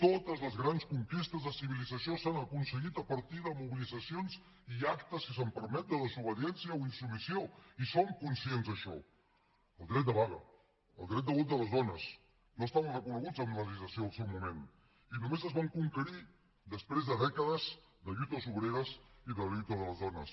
totes les grans conquestes de civilització s’han aconseguit a partir de mobilitzacions i actes si se’m permet de desobediència o insubmissió i som conscients d’això el dret de vaga el dret de vot de les dones no estaven reconeguts en la legislació del seu moment i només es van conquerir després de dècades de lluites obreres i de lluita de les dones